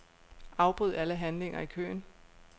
Afbryd alle handlinger i køen.